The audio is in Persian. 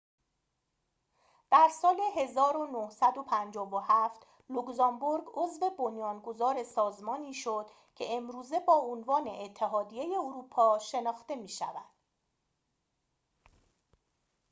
در سال ۱۹۵۷ لوگزامبورگ عضو بنیانگذار سازمانی شد که امروزه با عنوان اتحادیه اروپا شناخته می‌شود